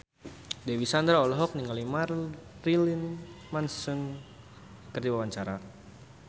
Dewi Sandra olohok ningali Marilyn Manson keur diwawancara